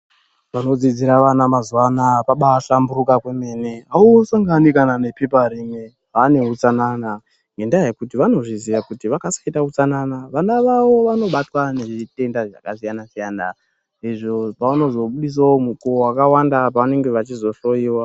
Panodzidzira vana mazuva anaya pabahlamburuka kwemene, ausangani kana nepepa rimwe vane utsanana ngendaa yekuti vanozviziya kuti vakasaita utsanana vana vavo vanobatwa nezvitenda zvakasiyana siyana izvo pavanozobudisawo mukowo wakawanda pavanenge vechihloyiwa.